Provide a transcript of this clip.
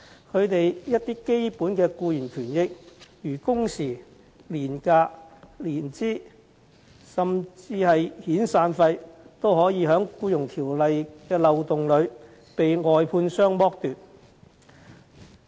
他們一些基本的僱員權益，例如工時、年假、年資，以至遣散費，也可以因《僱傭條例》的漏洞而遭外判商剝奪。